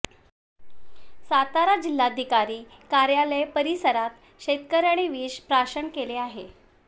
सातारा जिल्हाधिकारी कार्यालय परिसरात शेतकऱ्याने विष प्राशन केले आहे